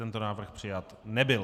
Tento návrh přijat nebyl.